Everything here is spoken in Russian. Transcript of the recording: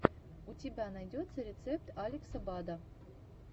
у тебя найдется рецепт алекса бада